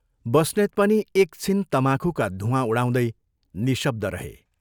बस्नेत पनि एकछिन तमाखुका धूवाँ उडाउँदै निःशब्द रहे।